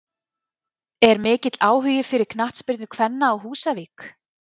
Er mikill áhugi fyrir knattspyrnu kvenna á Húsavík?